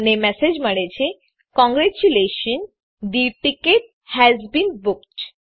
મને મેસેજ મળે છે congratulationsથે ટિકેટ હાસ બીન બુક્ડ